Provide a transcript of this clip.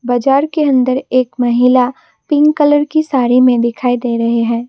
बाजार के अंदर एक महिला पिंक कलर की साड़ी में दिखाई दे रहे हैं।